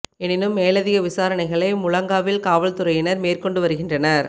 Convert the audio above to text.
எனினும் மேலதிக விசாரணைகளை முழங்காவில் காவல்துறையினர் மேற்கொண்டு வருகின்றனர்